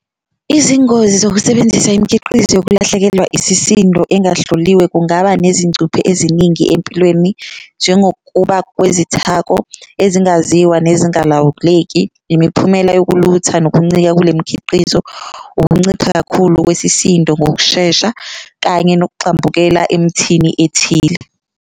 Izingozi zokusebenzisa imikhiqizo yokulahlekelwa isisindo engahloliwe kungaba nezincuphe eziningi empilweni, njengokuba kwesithako engingazizwa nezingalawuleki, imiphumela yokulutha nokuncika kule mikhiqizo. Ukuncipha kakhulu kwesisindo ngokushesha kanye nokugxambukela emthini ethile.